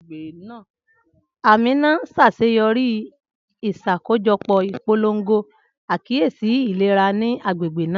Amina ṣaṣeyọri iṣakojọpọ ipolongo akiyesi ilera ni agbegbe naa.